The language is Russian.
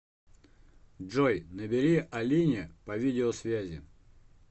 джой набери алине по видеосвязи